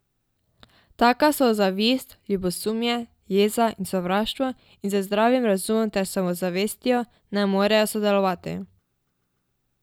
Taka so zavist, ljubosumje, jeza in sovraštvo in z zdravim razumom ter samozavestjo ne morejo sodelovati.